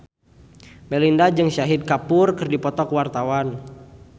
Melinda jeung Shahid Kapoor keur dipoto ku wartawan